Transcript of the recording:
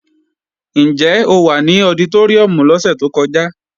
Ǹjẹ́ o wà lọditóríùm lọ́sẹ̀ tó kọjá?